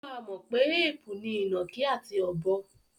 Ó máa mọ̀ pé éèpù ni ìnàkí àti ọ̀bọ.